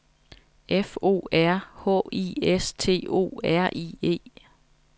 F O R H I S T O R I E